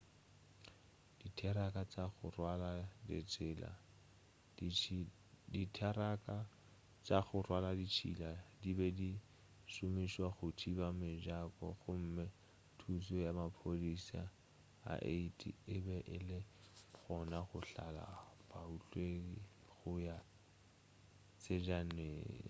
ditheraka tša go rwala ditšhila di be di šomišwa go thiba mejako gomme thušo ya maphodisa a 80 e be e le gona go hlahla baotledi go ya tsejaneng